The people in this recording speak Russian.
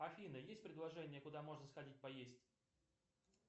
афина есть предложения куда можно сходить поесть